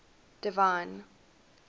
divine